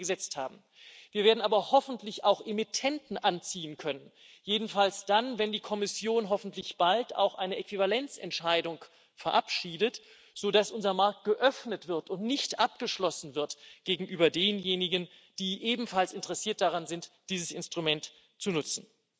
Wir werden aber hoffentlich auch Emittenten anziehen können, jedenfalls dann, wenn die Kommission hoffentlich bald auch eine Äquivalenzentscheidung verabschiedet, sodass unser Markt geöffnet wird und nicht abgeschlossen wird gegenüber denjenigen, die ebenfalls interessiert daran sind, dieses Instrument zu nutzen.